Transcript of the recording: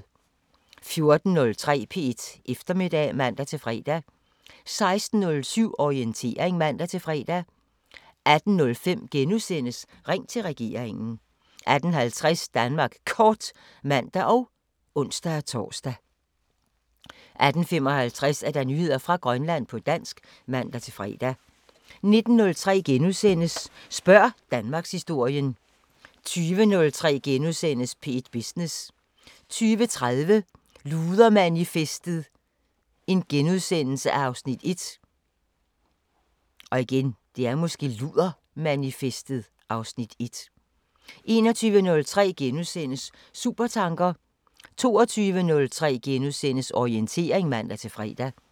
14:03: P1 Eftermiddag (man-fre) 16:07: Orientering (man-fre) 18:05: Ring til regeringen * 18:50: Danmark Kort (man og ons-tor) 18:55: Nyheder fra Grønland på dansk (man-fre) 19:03: Spørg Danmarkshistorien * 20:03: P1 Business * 20:30: Ludermanifestet (Afs. 1)* 21:03: Supertanker * 22:03: Orientering *(man-fre)